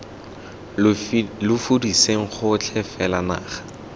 lo fudiseng gotlhe fela naga